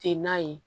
Ten n'a ye